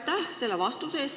Aitäh selle vastuse eest!